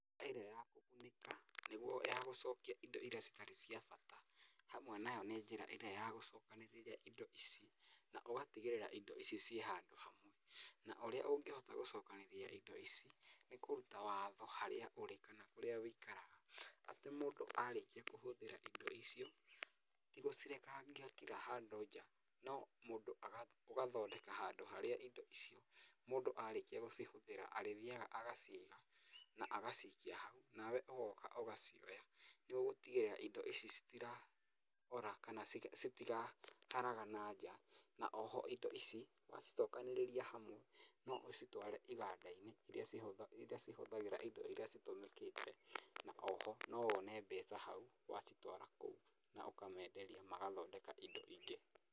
Njĩra ĩrĩa ya kũgunĩka nĩguo ya gũcokia indo iria citarĩ cia bata, hamwe nayo nĩ njĩra ĩrĩa ya gũcokanĩrĩria indo ici, na ũgatigĩrĩra atĩ indo ici ciĩ hamwe. Na ũrĩa ũngĩhota gũcokanĩria indo ici nĩ kũruta watho harĩa ũrĩ kana kũrĩa wũikaraga, atĩ mũndũ arĩkia kũhũthĩra indo icio, ti gũcirekangia kira handũ nja, no mũndũ ũgathondeka handũ harĩa indo icio mũndũ arĩkia gũcihũthĩra arĩthiaga agaciga, na agacikia hau, nawe ũgoka ũgacioya, nĩ ũgũtigĩrĩra indo ici citiraũra kana citiraharagana nja, na oho indo ici wacicokanĩrĩria hamwe no ũcitware iganda-inĩ iria cihũthĩraga indo iria citũmĩkĩte, na oho no wone mbeca hau wacitwara kũu na ũkamenderia magathondeka indo ingĩ.